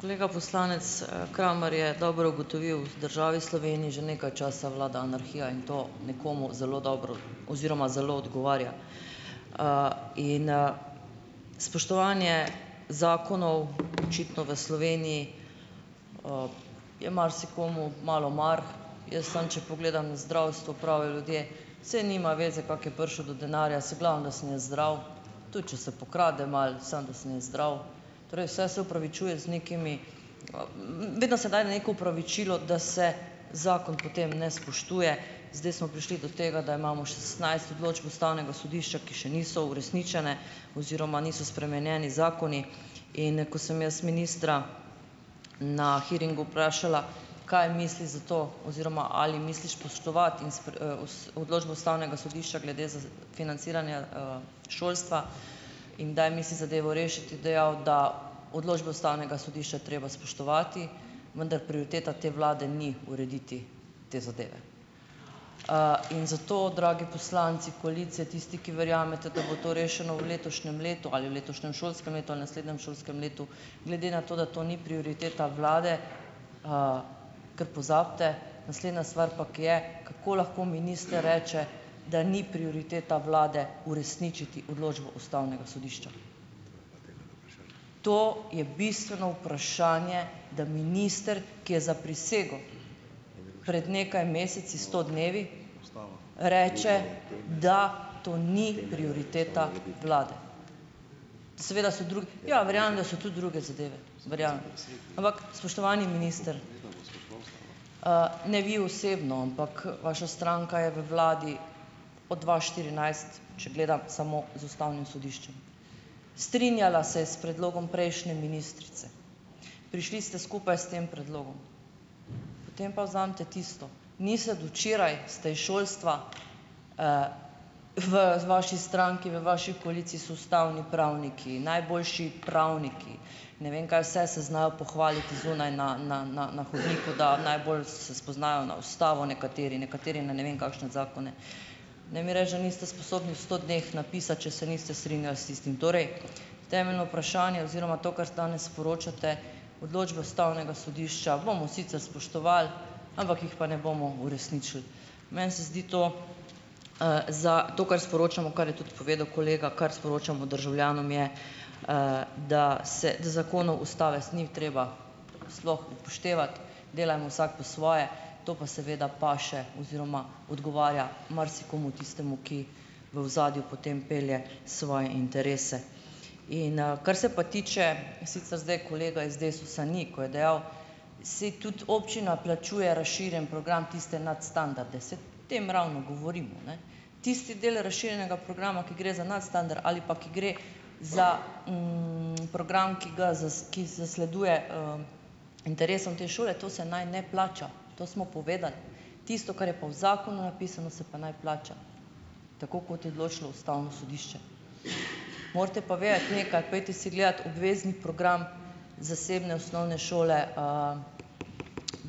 Kolega poslanec, Kramar je dobro ugotovil, v državi Sloveniji že nekaj časa vlada anarhija in to nekomu zelo dobro oziroma zelo odgovarja. In, spoštovanje zakonov očitno v Sloveniji, je marsikomu malo mar. Jaz samo, če pogledam zdravstvo, pravijo ljudje, saj nima zveze, kako je prišel do denarja, saj glavno, da sem jaz zdrav, tudi če se pokrade malo, samo da sem jaz zdrav. Torej vse se opravičuje z nekimi, vedno se daje neko opravičilo, da se zakon potem ne spoštuje. Zdaj smo prišli do tega, da imamo šestnajst odločb ustavnega sodišča, ki še niso uresničene, oziroma niso spremenjeni zakoni, in, ko sem jaz ministra na hearingu vprašala, kaj misli s to oziroma ali misli spoštovati in odločbo ustavnega sodišča glede z, financiranja, šolstva in kdaj misli zadevo rešiti, je dejal, da odločbe ustavnega sodišča je treba spoštovati, vendar prioriteta te vlade ni urediti te zadeve. In zato, dragi poslanci koalicije, tisti, ki verjamete, da bo to rešeno v letošnjem letu ali v letošnjem šolskem letu ali naslednjem šolskem letu, glede na to, da to ni prioriteta vlade, kar pozabite, naslednja stvar pa, ko je, kako lahko minister reče, da ni prioriteta vlade uresničiti odločbo ustavnega sodišča. To je bistveno vprašanje, da minister, ki je zaprisegel pred nekaj meseci, sto dnevi, reče, da to ni prioriteta vlade. Seveda so drugi, ja, verjamem, da so tudi druge zadeve, verjamem, ampak spoštovani minister, ne vi osebno, ampak vaša stranka je v vladi od dva štirinajst, če gledam samo z ustavnim sodiščem. Strinjala se je s predlogom prejšnje ministrice, prišli ste skupaj s tem predlogom, potem pa vzemite tisto, nisem od včeraj, ste iz šolstva, v vaši stranki, v vaši koaliciji so ustavni pravniki, najboljši pravniki, ne vem, kaj vse se znajo pohvaliti zunaj, na, na, na, na hodniku, da najbolj se spoznajo na ustavo nekateri, nekateri na ne vem kakšne zakone, ne mi reči, da niste sposobni v sto dneh napisati, če se niste strinjali s tistim. Torej, temeljno vprašanje oziroma to, kar danes sporočate, odločbe ustavnega sodišča bomo sicer spoštovali, ampak jih pa ne bomo uresničili. Meni se zdi to, za to, kar sporočamo, kar je tudi povedal kolega, kar sporočamo državljanom, je, da se zakonov, ustave ni treba sploh upoštevati, delajmo vsak po svoje, to pa seveda paše oziroma odgovarja marsikomu tistemu, ki v ozadju potem pelje svoje interese. In, kar se pa tiče, sicer zdaj kolega iz Desusa ni, ko je dejal, saj tudi občina plačuje razširjen program, tiste nadstandarde, saj o tem ravno govorimo, ne. Tisti del razširjenega programa, ki gre za nadstandard ali pa ki gre za, program, ki ga ki zasleduje, interesom te šole, to se naj ne plača, to smo povedali. Tisto, kar je pa v zakonu napisano, se pa naj plača, tako kot je odločilo ustavno sodišče. Morate pa vedeti nekaj, pojdite si gledat obvezni program zasebne osnovne šole,